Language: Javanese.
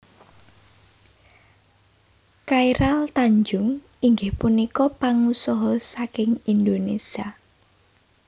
Chairul Tanjung inggih punika pangusaha saking Indonesia